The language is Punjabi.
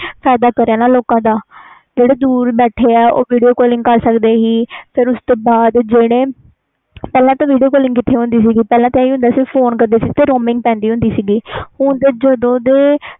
ਦੂਰ ਬੈਠੇ ਆ ਓ video calling ਕਰ ਸਕਦੇ ਸੀ ਤੇ ਉਸ ਤੋਂ ਬਾਅਦ ਜਿਹੜੇ ਪਹਿਲਾ ਤਾਂ video calling ਕਿਥੇ ਹੁੰਦੀ ਸੀ ਤੇ ਪਹਿਲਾ ਤਾਂ ਆਹ ਹੀ ਹੁੰਦਾ ਸੀ ਕੀ ਤੇ roaming ਪੈਂਦੀ ਹੁੰਦੀ ਸੇ ਹੁਣ ਤੇ ਜਦੋ ਦੇ